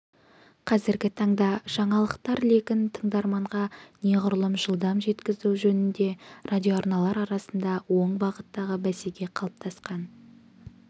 қазіргі таңда жаңалықтар легін тыңдарманға неғұрлым жылдам жеткізу жөнінде радиоарналар арасында оң бағыттағы бәсеке қалыптасқан